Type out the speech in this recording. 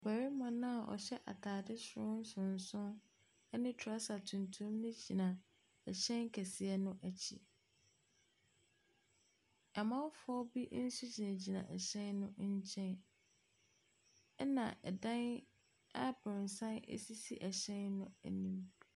Barima no a ɔhyɛ ataade soro nsonson ne trouser tuntum no gyina hyɛn kɛse no nkyɛn. Amamfo bi nso gyinagyina hyɛn ne nkyɛn. Na dan abrɔsan sisi hyɛn no anim.